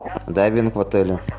дайвинг в отеле